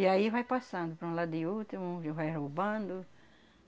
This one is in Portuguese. E aí vai passando para um lado e outro, um vai roubando,